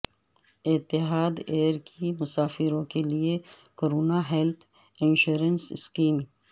اتحاد ایئر کی مسافروں کے لیے کورونا ہیلتھ انشورنس سکیم